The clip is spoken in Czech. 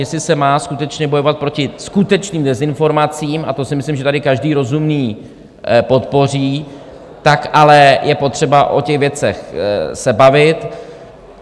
Jestli se má skutečně bojovat proti skutečným dezinformacím - a to si myslím, že tady každý rozumný podpoří - tak ale je potřeba o těch věcech se bavit.